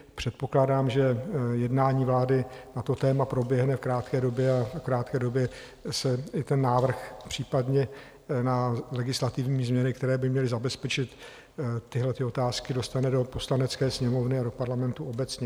Předpokládám, že jednání vlády na to téma proběhne v krátké době, a v krátké době se i ten návrh případně na legislativní změny, které by měly zabezpečit tyhlety otázky, dostane do Poslanecké sněmovny a do Parlamentu obecně.